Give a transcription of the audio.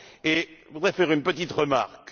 Je voudrais faire une petite remarque.